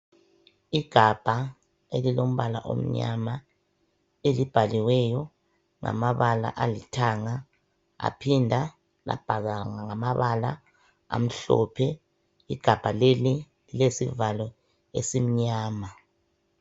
Igabha elilombala omnyama, elibhaliweyo ngamabala alithanga, aphindwa labhalwa ngamabala amhlophe. Igabha leli ilesivalo esimnyama.